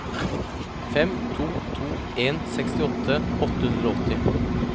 fem to to en sekstiåtte åtte hundre og åtti